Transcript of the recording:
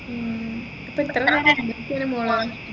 ഉം ഇപ്പൊ എത്രനേരം എഴുനേൽക്കുന്ന് മോളേ